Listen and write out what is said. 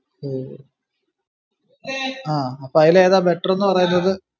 ഓ ആ അപ്പൊ അയിലേതാ better ന്നു പറയുന്നത്